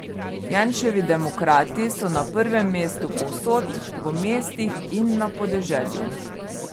Janševi demokrati so na prvem mestu povsod, v mestih in na podeželju.